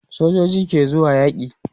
sojoji ke zuwa yaki